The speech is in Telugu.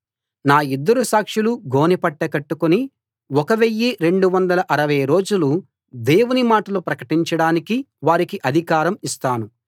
నా ఇద్దరు సాక్షులు గోనెపట్ట కట్టుకుని 1 260 రోజులు దేవుని మాటలు ప్రకటించడానికి వారికి అధికారం ఇస్తాను